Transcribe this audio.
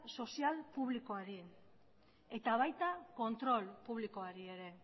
sozial publikoari eta baita kontrol publikoari ere